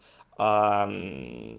а